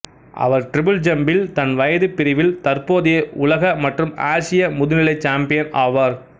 அவர் triple ஜம்பில் தன்வயது பிரிவில் தற்போதைய உலக மற்றும் ஆசிய முதுநிலை சாம்பியன் ஆவார்